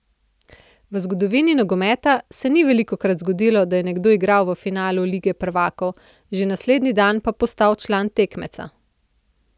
V zgodovini nogometa se ni velikokrat zgodilo, da je nekdo igral v finalu lige prvakov, že naslednji dan pa postal član tekmeca.